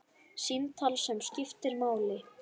Símtal sem skiptir máli